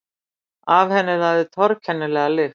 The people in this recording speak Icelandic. Af henni lagði torkennilega lykt.